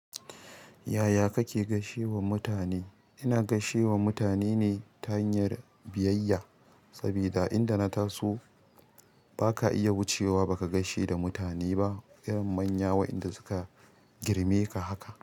Yaya kake gaishewa mutane? Ina gaishe wa mutane ne ta hanyar biyayya. Sabida inda na taso ba ka iya wucewa ba ka gaishe da mutane ba, irin manya wa'inda inda suka girme ka haka.